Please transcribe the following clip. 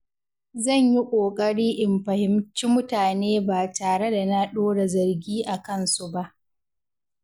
Zan yi ƙoƙari in fahimci mutane ba tare da na ɗora zargi a kansu ba.